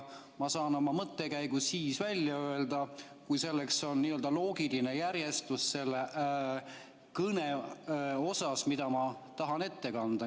Ma saan oma mõttekäigu välja öelda siis, kui selleks on loogiline järjestus selles kõnes, mida ma tahan ette kanda.